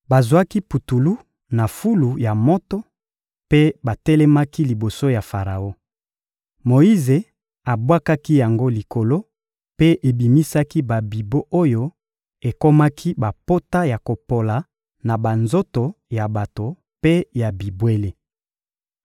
Bazwaki putulu na fulu ya moto mpe batelemaki liboso ya Faraon. Moyize abwakaki yango likolo mpe ebimisaki babibon oyo ekomaki bapota ya kopola na banzoto ya bato mpe ya bibwele.